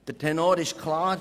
Der Tenor ist klar: